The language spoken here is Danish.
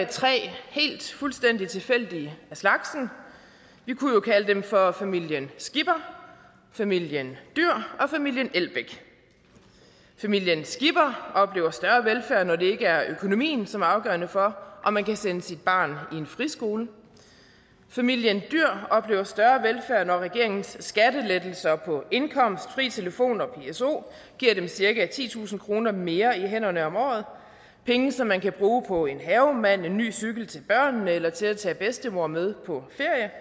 tre helt fuldstændig tilfældige af slagsen vi kunne jo kalde dem for familien skipper familien dyhr og familien elbæk familien skipper oplever større velfærd når det ikke er økonomien som er afgørende for om man kan sende sit barn i en friskole familien dyhr oplever større velfærd når regeringens skattelettelser på indkomst fri telefon og pso giver dem cirka titusind kroner mere i hænderne om året penge som man kan bruge på en havemand en ny cykel til børnene eller til at tage bedstemor med på